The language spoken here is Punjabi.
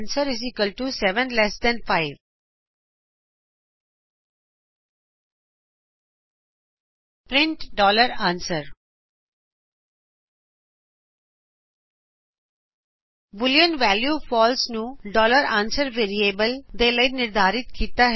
answer 7ਲਟ5 print answer boolean value false को answer ਵੈਰਿਏਬਲਸ ਦੇ ਲਈ ਨਿਰਧਾਰਿਤ ਕਿਤਾ ਹੈ